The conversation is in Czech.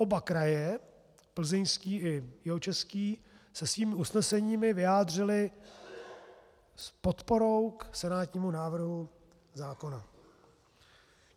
Oba kraje, Plzeňský i Jihočeský, se svými usneseními vyjádřily s podporou k senátnímu návrhu zákona.